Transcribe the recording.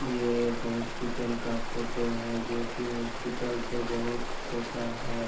ये एक हॉस्पिटल का फोटो है जो की हॉस्पिटल तो बहुत छोटा है।